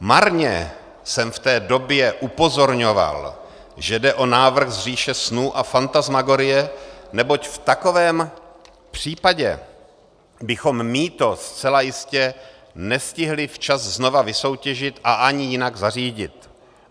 Marně jsem v té době upozorňoval, že jde o návrh z říše snů a fantasmagorie, neboť v takovém případě bychom mýto zcela jistě nestihli včas znova vysoutěžit a ani jinak zařídit.